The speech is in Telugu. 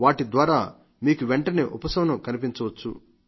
నవాటి ద్వారా మీకు వెంటనే ఉపశమనం కనిపించవచ్చు